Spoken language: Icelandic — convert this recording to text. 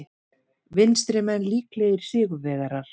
Vinstrimenn líklegir sigurvegarar